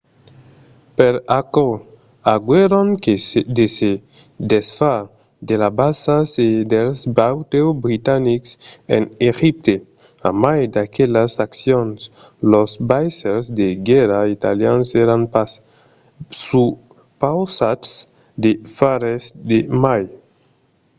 per aquò aguèron de se desfar de las basas e dels batèus britanics en egipte. a mai d'aquelas accions los vaissèls de guèrra italians èran pas supausats de far res de mai